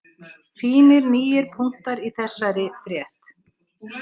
Fínir nýir punktar í þessari frétt